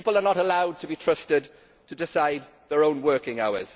People are not allowed to be trusted to decide their own working hours.